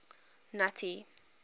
nuttie